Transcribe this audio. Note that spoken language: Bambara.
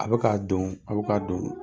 A bɛ k' don a bɛ k' don